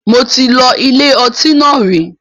Mo ti lọ ilé ọtí náà rí.